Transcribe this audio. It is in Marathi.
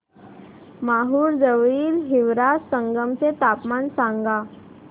माहूर जवळील हिवरा संगम चे तापमान सांगा